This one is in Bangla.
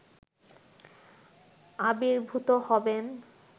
আবির্ভূত হবেন